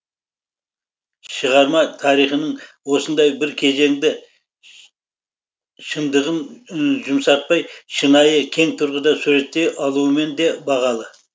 шығарма тарихының осындай бір кезеңді шындығын жұмсартпай шынайы кең тұрғыда суреттей алуымен де бағалы